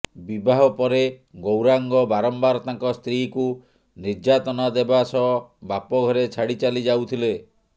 ବିବାହ ପରେ ଗୌରାଙ୍ଗ ବାରମ୍ବାର ତାଙ୍କ ସ୍ତ୍ରୀକୁ ନିର୍ଯ୍ୟାତନା ଦେବା ସହ ବାପଘରେ ଛାଡ଼ି ଚାଲି ଯାଉଥିଲେ